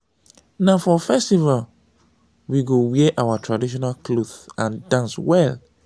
na for festival we go wear our traditional clothes and dance well.